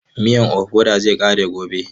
Miyan ofada zai ƙare gobe.